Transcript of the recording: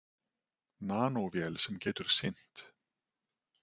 Nanóvél sem getur synt.